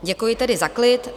Děkuji tedy za klid.